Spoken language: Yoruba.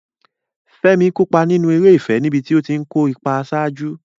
Fẹ́mi kópa nínú eré ìfẹ́ níbi tó ti ń kó ipa àṣáájú.